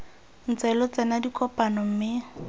ntse lo tsena dikopano mme